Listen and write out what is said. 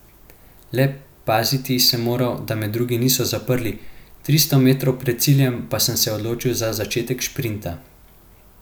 Le paziti sem moral, da me drugi niso zaprli, tristo metrov pred ciljem pa sem se odločil za začetek šprinta.